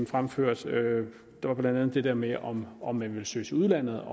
fremførte der var blandt andet det der med om om man ville søge til udlandet